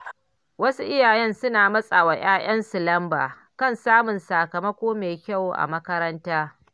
Wasu iyaye suna matsa wa ‘ya’yansu lamba kan samun sakamako mai kyau a makaranta.